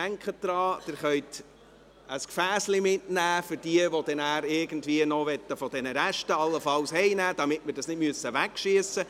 Denken Sie daran, dass Sie ein Gefäss mitnehmen können – für jene, die allenfalls von diesen Resten noch etwas mit nach Hause nehmen wollen –, damit wir nichts wegwerfen müssen.